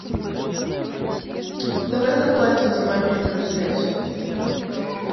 давай заплатим за мобильную связь